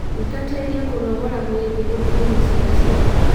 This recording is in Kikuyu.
Thingatĩrĩa kũnogora mwĩrĩ nĩguo kũũmia ciĩga cia ndaa